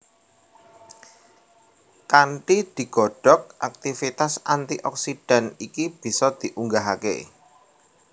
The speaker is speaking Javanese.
Kanthi digodhog aktivitas antioksidan iki bisa diunggahake